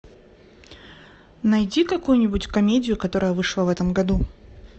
найди какую нибудь комедию которая вышла в этом году